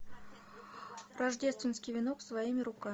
рождественский венок своими руками